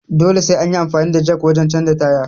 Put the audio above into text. Dole sai anyi amfani da jak wajen canja tyre